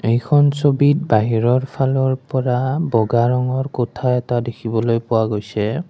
এইখন ছবিত বাহিৰৰ ফালৰ পৰা বগা ৰঙৰ কোঠা এটা দেখিবলৈ পোৱা গৈছে।